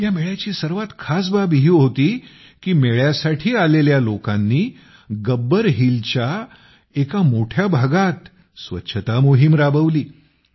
या मेळ्याची सर्वात खास बाब ही होती की मेळ्य़ासाठी आलेल्या लोकानी गब्बर हिल च्या एक मोठ्या भागात स्वच्छता मोहीम राबवली